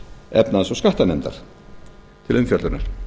efnahags og skattanefndar til umfjöllunar